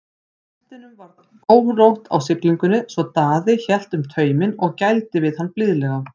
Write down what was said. Hestinum var órótt á siglingunni svo Daði hélt um tauminn og gældi við hann blíðlega.